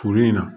Furu in na